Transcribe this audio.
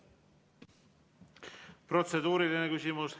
Protseduuriline küsimus.